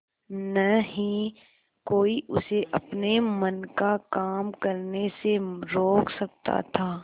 न ही कोई उसे अपने मन का काम करने से रोक सकता था